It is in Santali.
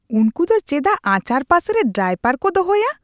ᱩᱱᱠᱩ ᱫᱚ ᱪᱮᱫᱟᱜ ᱟᱪᱟᱨ ᱯᱟᱥᱮᱨᱮ ᱰᱟᱭᱯᱟᱮ ᱠᱚ ᱫᱚᱦᱚᱭᱟ ?